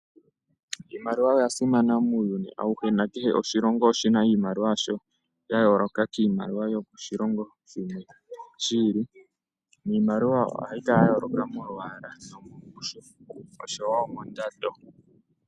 Iimaliwa oya simana muuyuni auhe na kehe oshilongo oshina iimaliwa yasho ya yooloka kiimaliwa yo koshilongo shimwe shiili, niimaliwa ohayi ya yooloka mo mwaalala nomungushu osho wo mondanda.